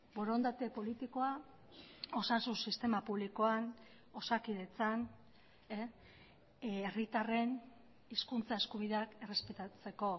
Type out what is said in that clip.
borondate politikoa osasun sistema publikoan osakidetzan herritarren hizkuntza eskubideak errespetatzeko